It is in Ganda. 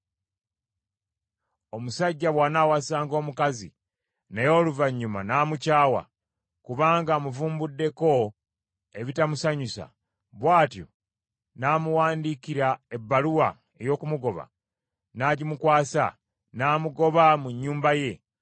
Omusajja bw’anaawasanga omukazi, naye oluvannyuma n’amukyawa, kubanga amuvumbuddeko ebitamusanyusa, bw’atyo n’amuwandiikira ebbaluwa ey’okumugoba, n’agimukwasa, n’amugoba mu nnyumba ye,